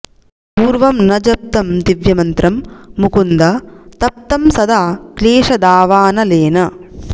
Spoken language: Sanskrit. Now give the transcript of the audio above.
पूर्वं न जप्तं दिव्यमन्त्रं मुकुन्द तप्तं सदा क्लेशदावानलेन